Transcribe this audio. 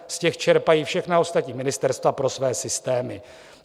Z těch čerpají všechna ostatní ministerstva pro své systémy.